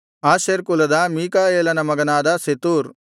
Asher ಕುಲದ ಮೀಕಾಯೇಲನ ಮಗನಾದ ಸೆತೂರ್